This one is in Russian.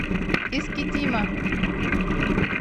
искитима